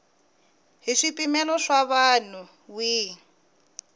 hi swipimelo swa nawu wihi